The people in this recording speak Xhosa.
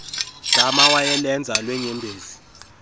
dama wayelenza lweenyembezi